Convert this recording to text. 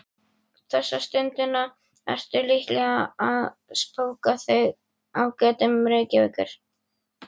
Þessa stundina ertu líklega að spóka þig á götum Reykjavíkur.